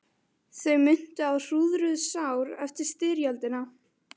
Þau minntu á hrúðruð sár eftir styrjöldina.